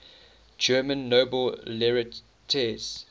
german nobel laureates